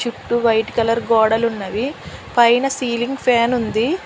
చుట్టూ white colour గోడలున్నవి పైన సీలింగ్ ఫ్యాన్ ఉంది.